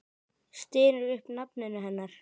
Stynur upp nafninu hennar.